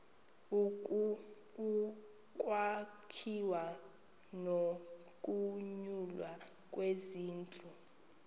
ukwakhiwa nokunyulwa kwezindlu